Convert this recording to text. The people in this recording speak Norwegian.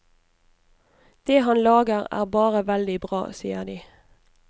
Det han lager er bare veldig bra, sier de.